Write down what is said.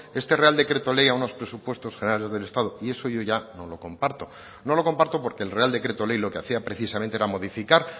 este real decreto ley a unos presupuestos generales del estado y eso yo ya no lo comparto no lo comparto porque el real decreto ley lo que hacía precisamente era modificar